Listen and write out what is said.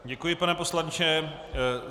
Děkuji, pane poslanče.